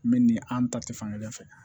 N bɛ nin an ta tɛ fankelen fɛ